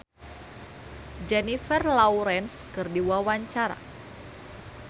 Shanti olohok ningali Jennifer Lawrence keur diwawancara